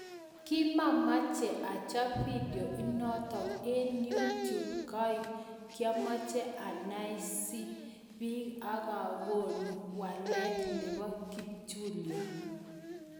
Kimaamache achop vidio inotok eng yuu tube kaek kiamachae anaesii piik akakonuu waleet neboo kipchulio